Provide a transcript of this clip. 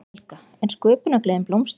Helga: En sköpunargleðin blómstrar?